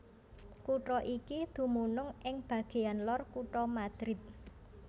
Kutha iki dumunung ing bagéan lor kutha Madrid